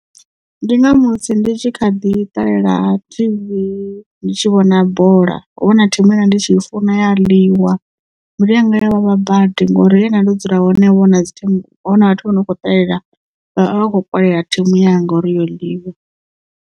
Ndi nga musi ndi tshi kha ḓi ṱalela TV ndi tshi vhona bola hovha huna thimu ye ndi tshi funa ya ḽiwa mbilu yanga ya vhavha badi ngori he nda ndo dzula hovha huna dzi thimu hovha huna vhathu vho no kho ṱalela vha vha kho kolela thimu yanga uri yo ḽiwa.